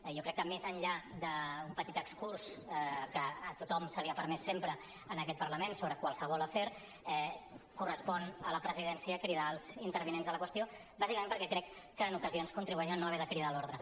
jo crec que més enllà d’un petit excurs que a tothom se li ha permès sempre en aquest parlament sobre qualsevol afer correspon a la presidència cridar els intervinents a la qüestió bàsicament perquè crec que en ocasions contribueix a no haver de cridar a l’ordre